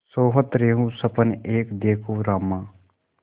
सोवत रहेउँ सपन एक देखेउँ रामा